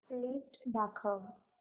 list दाखव